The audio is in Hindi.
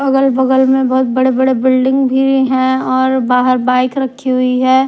अगल बगल में बहुत बड़े बड़े बिल्डिंग भी हैं और बाहर बाइक रखी हुई है।